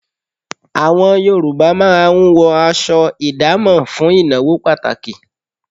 Àwọn Yorùbá máa ń wọ aṣọ ìdámọ̀ fún ìnáwó pàtàkì